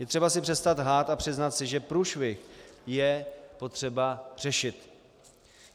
Je třeba si přestat lhát a přiznat si, že průšvih je potřeba řešit.